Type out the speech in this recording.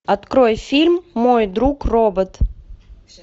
открой фильм мой друг робот